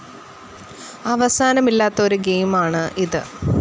അവസാനമില്ലാത്ത ഒരു ഗെയിമാണ് ഇത്.